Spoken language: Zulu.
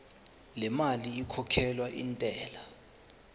lemali ekhokhelwa intela